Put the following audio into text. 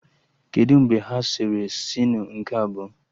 Kedụ mgbe ha sere sinu nke abụọ?